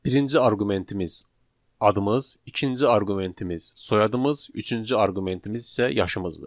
Birinci arqumentimiz adımız, ikinci arqumentimiz soyadımız, üçüncü arqumentimiz isə yaşımızdır.